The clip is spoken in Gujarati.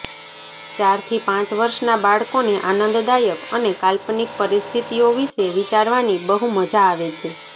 ચારથી પાંચ વર્ષનાં બાળકોને આનંદદાયક અને કાલ્પનિક પરિસ્થિતિઓ વિશે વિચારવાની બહુ મજા આવે છે